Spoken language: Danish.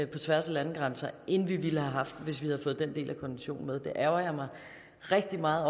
på tværs af landegrænser end vi ville have haft hvis vi havde fået den del af konventionen med det ærgrer jeg mig rigtig meget